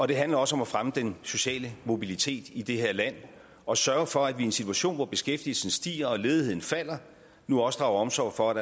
det handler også om at fremme den sociale mobilitet i det her land og sørge for at vi i en situation hvor beskæftigelsen stiger og ledigheden falder nu også drager omsorg for at